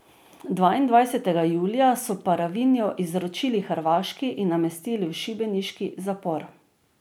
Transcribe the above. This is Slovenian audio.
Dvaindvajsetega julija so Paravinjo izročili Hrvaški in namestili v šibeniški zapor.